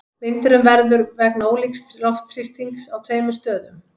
Vindurinn verður vegna ólíks loftþrýstings á tveimur stöðum.